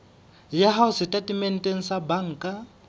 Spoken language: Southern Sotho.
ya hao setatementeng sa banka